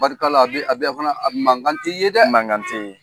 Barika a bɛ a bɛ fana mante ye dɛ mante